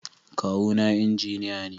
Kawuna Injiniya ne.